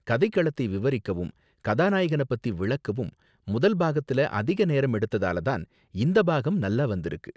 கதை களத்தை விவரிக்கவும் கதாநாயகனை பத்தி விளக்கவும் முதல் பாகத்துல அதிக நேரம் எடுத்ததால தான் இந்த பாகம் நல்லா வந்திருக்கு.